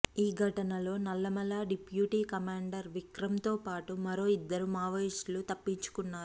ఈ ఘటనలో Nallamala deputy commander Vikram తో పాటు మరో ఇద్దరు మావోయిస్టులు తప్పించుకున్నారు